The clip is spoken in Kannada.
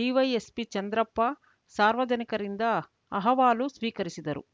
ಡಿವೈಎಸ್ಪಿ ಚಂದ್ರಪ್ಪ ಸಾರ್ವಜನಿಕರಿಂದ ಅಹವಾಲು ಸ್ವೀಕರಿಸಿದರು